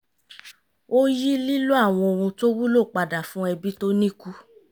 ó yí lílò àwọn ohun tó wúlò padà fún ẹbí tó ní kù